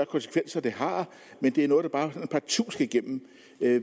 konsekvenser det har men det er noget der bare partout skal igennem